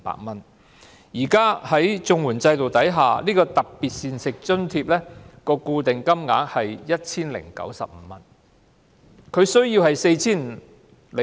但是，在現行綜援制度下，特別膳食津貼的固定金額只有 1,095 元。